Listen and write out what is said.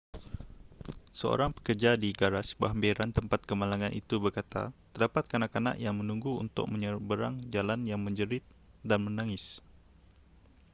seorang pekerja di garaj berhampiran tempat kemalangan itu berkata terdapat kanak-kanak yang menunggu untuk menyeberang jalan yang menjerit dan menangis